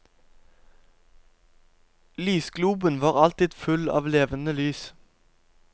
Lysgloben var alltid full av levende lys.